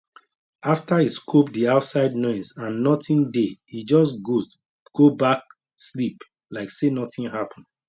after e scope the outside noise and nothing dey e just ghost go back sleep like say nothing happen